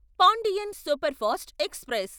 Pandian superfast express